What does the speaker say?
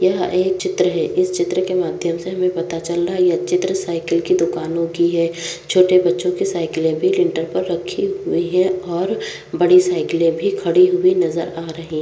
यह एक चित्र हैं इस चित्र के माध्यम से हमे पता चल रहा हे ये अच्छी तरह ये साइकिल की दूकान होती हैं छोटे बच्चो की साइकिले भी लिंटल पर रखी हुई हैंऔर बड़ी साइकिले भी खड़ी हुई नज़र आ--